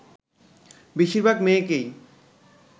বেশিরভাগ মেয়েকেই